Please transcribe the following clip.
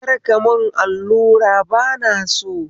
Kar ka mun allura bana so